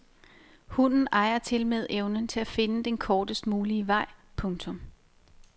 Hunden ejer tilmed evnen til at finde den kortest mulige vej. punktum